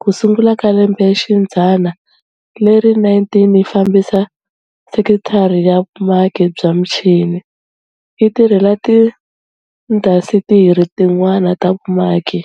ku sungula ka lembexidzana leri 19 yi fambisa sekithara ya vumaki bya michini, yi tirhela tiindasitiri tin'wana ta vumaki.